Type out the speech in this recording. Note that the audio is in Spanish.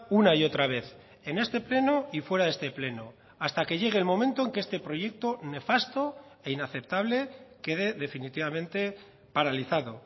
una y otra vez en este pleno y fuera de este pleno hasta que llegue el momento en que este proyecto nefasto e inaceptable quede definitivamente paralizado